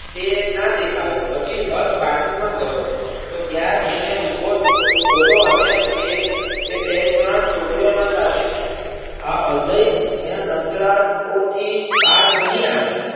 તે ના દેખાયો પછી હર્ષ parking માં ગયો તો ત્યાં તેને ઉભો જો જોયો અને એ એ બે ત્રણ છોકરીઓના સાથે આ અજય એના નખરાઓથી બાજ નહીં આવે.